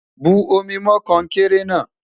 bù omi mọ konkere na